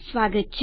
સ્વાગત છે